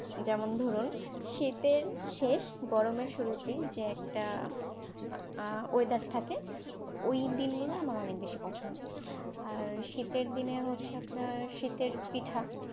যেমন ধরুন শীতের শেষ গরমের শুরুতে যে একটা আহ আহ ওয়েদার থাকে ওইদিন গুলো আমার অনেক বেশি পছন্দ। আর শীতের দিনে হচ্ছে আপনার শীতের পিঠা ।